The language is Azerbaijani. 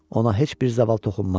Ona heç bir zaval toxunmaz.